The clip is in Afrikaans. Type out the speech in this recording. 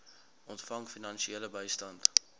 ontvang finansiële bystand